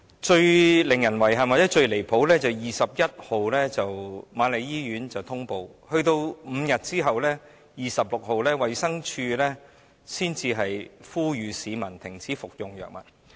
最令人遺憾或最離譜的是瑪麗醫院在6月21日通報，在5天後的6月26日，衞生署才呼籲市民停止服用該藥物。